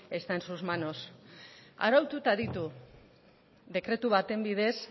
está en sus manos araututa ditu dekretu baten bidez